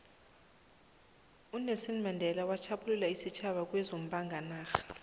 unelson mandela wakhulula isitjhaba kwezombanga narha